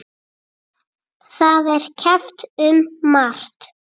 Það er keppt um margt.